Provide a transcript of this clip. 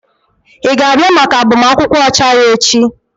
Ị ga-abịa maka agbamakwụkwọ ọcha ya echi?